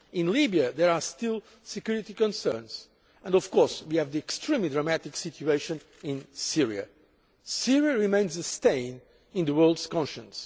In Libya there are still security concerns and, of course, we have the extremely dramatic situation in Syria. Syria remains a stain on the world's conscience.